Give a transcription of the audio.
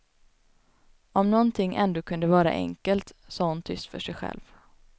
Om någonting ändå kunde vara enkelt, sa hon tyst för sig själv.